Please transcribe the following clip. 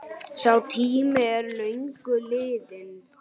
Sá tími er löngu liðinn.